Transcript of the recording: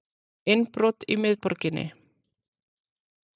Innbrot í miðborginni